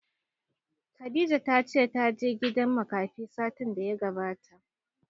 Khadijah ta ce ta je gidan makafi satin da ya gabata